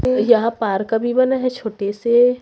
यहां पार्क भी बना है छोटे से--